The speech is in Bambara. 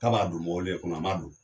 K'a b'a don mɔwle kɔnɔ a m'a don.